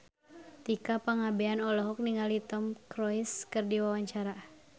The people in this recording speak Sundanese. Tika Pangabean olohok ningali Tom Cruise keur diwawancara